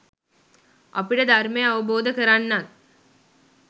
අපිට ධර්මය අවබෝධ කරන්නත්